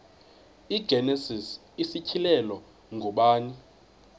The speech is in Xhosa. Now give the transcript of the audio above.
igenesis isityhilelo ngubani